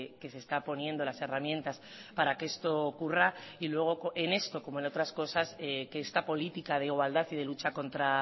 que se está poniendo las herramientas para que esto ocurra y luego en esto como en otras cosas que esta política de igualdad y de lucha contra